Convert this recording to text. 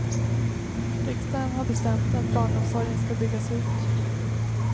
Riksdagen har bestämt att barnomsorgen ska byggas ut.